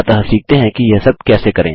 अतः सीखते हैं कि यह सब कैसे करें